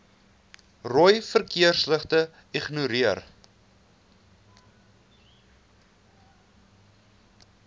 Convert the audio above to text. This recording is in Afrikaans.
rooi verkeersligte ignoreer